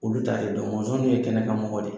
Olu taa de don mɔnzɔn nunnu ye kɛnɛkan mɔgɔ de ye.